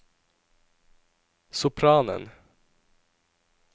sopranen